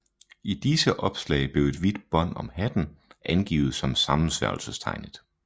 I disse opslag blev et hvidt bånd om hatten angivet som sammensværgelsestegnet